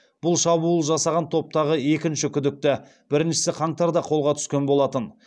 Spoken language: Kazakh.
бұл шабуыл жасаған топтағы екінші күдікті біріншісі қаңтарда қолға түскен болатын